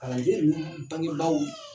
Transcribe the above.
Kalanden ninnu bangebaaw